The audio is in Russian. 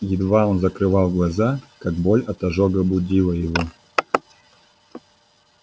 едва он закрывал глаза как боль от ожога будила его